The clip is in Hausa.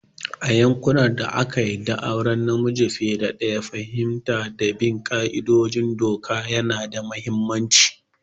A yankunan da aka yarda da auren namiji fiye da ɗaya, fahimta da bin ƙa'idodin doka yana da mahimmanci